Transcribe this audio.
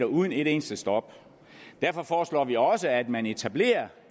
uden et eneste stop derfor foreslår vi også at man etablerer